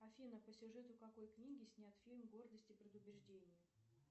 афина по сюжету какой книги снят фильм гордость и предубеждение